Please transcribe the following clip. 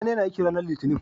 Sani na aiki ranar litinin